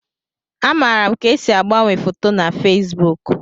Amaara m ka esi agbanwe foto na Fesbuk